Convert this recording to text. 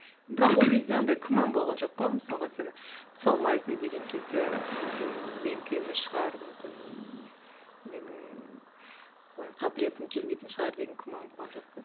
бірақ ол кезде андай күмән болған жоқ па мысалға сені түсе алмайсың деген кезде мүмкін менікі емес шығар мүмкін менің қалай қабілетім келмейтін шығар деген күмән болған жоқ па